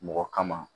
Mɔgɔ kama